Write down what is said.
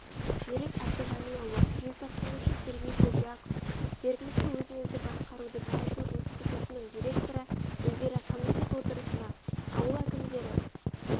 берік әбдіғалиұлы саясаттанушы сергей худяков жергілікті өзін-өзі басқаруды дамыту институтының директоры эльвира комитет отырысына ауыл әкімдері